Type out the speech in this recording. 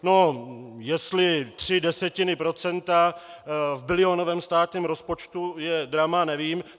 No, jestli tři desetiny procenta v bilionovém státním rozpočtu je drama, nevím.